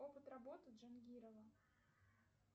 опыт работы джангирова